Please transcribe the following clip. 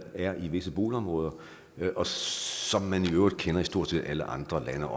er i visse boligområder og som man i øvrigt også kender i stort set alle andre lande